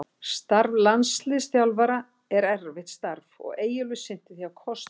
Starf landsliðsþjálfara er erfitt starf og Eyjólfur sinnti því af kostgæfni.